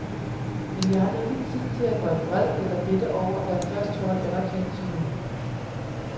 Men jeg har ikke tid til at være vred eller bitter over at jeg først får en slags anerkendelse nu.